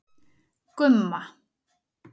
Gumma